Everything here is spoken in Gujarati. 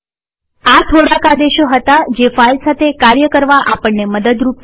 આ થોડાક આદેશો હતા જે ફાઈલ સાથે કાર્ય કરવા આપણને મદદરૂપ થાય છે